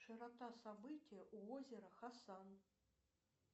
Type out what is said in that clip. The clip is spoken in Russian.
широта события у озера хасан